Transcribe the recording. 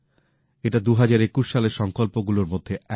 এটা ২০২১ সালের সংকল্প গুলোর মধ্যে একটা